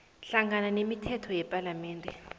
hlangana nemithetho yepalamende